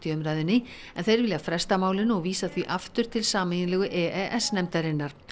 umræðunni en þeir vilja fresta málinu og vísa því aftur til sameiginlegu e e s nefndarinnar